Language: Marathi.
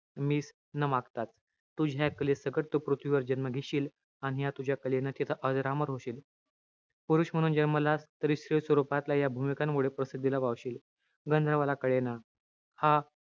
मीच न मागता. तुझ्या या कलेसकट तू पृथ्वीवर जन्म घेशील. आणि ह्या तुझ्या कलेनं तिथं अजरामर होशील. पुरुष म्हणून जन्मलास तरी स्त्री स्वरूपातील या भूमिकांमुळे तू प्रसिद्धीला पावशील. गंधर्वाला कळेना. हा,